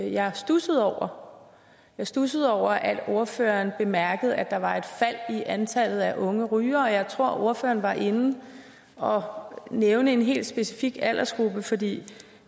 jeg studsede over jeg studsede over at ordføreren bemærkede at der var et fald i antallet af unge rygere og jeg tror at ordføreren var inde og nævne en helt specifik aldersgruppe for det